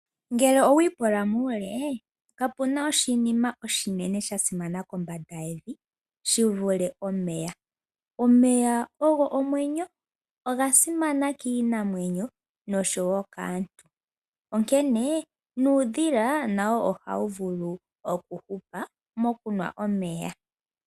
Ngele owi pula muule, kapu na oshinima oshinene sha simana kombanda yevi shi vule omeya. Omeya ogo omwenyo oga simana kiinamwenyo nosho wo kaantu, onkene nuudhila nawo ohawu vulu okuhupa mokunwa omeya.